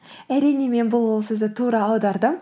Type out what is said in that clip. әрине мен бұл ұлы сөзді тура аудардым